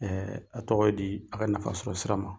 Ɛɛ a tɔgɔ ye di, a ka nafa sɔrɔ sira ma.